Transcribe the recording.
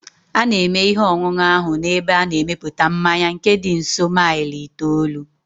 A na-eme ihe ọṅụṅụ ahụ n'ebe a na-emepụta mmanya nke dị nso maịl itoolu